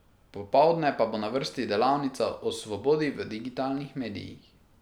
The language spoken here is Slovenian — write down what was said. Popoldne pa bo na vrsti delavnica o svobodi v digitalnih medijih.